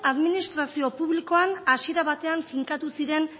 administrazio publikoan hasiera batean finkatu ziren